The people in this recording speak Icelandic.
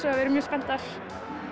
að við erum mjög spenntar